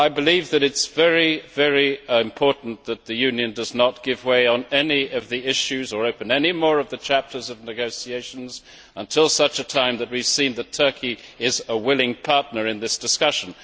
I believe it is very important that the Union does not give way on any of the issues or open any more of the chapters of negotiations until such time as we see that Turkey is a willing partner in this discussion.